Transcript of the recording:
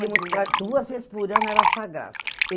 Íamos para, duas vezes por ano, era sagrado.